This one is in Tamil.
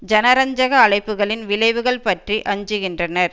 ஜனரஞ்சக அழைப்புகளின் விளைவுகள் பற்றி அஞ்சுகின்றனர்